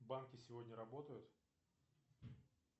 банки сегодня работают